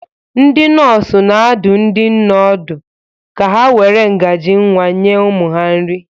Ndị nọọsụ na-adụ ndị nne ọdụ ka ha were ngaji nwa nye ụmụ ha nri